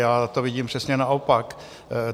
Já to vidím přesně naopak.